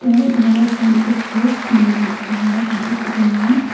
tay iben ole ekkan tuk tuk mane tara ole ekkan tuk tuk loyon.